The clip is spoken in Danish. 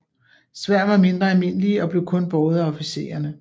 Sværd var mindre almindelige og blev kun båret af officiererne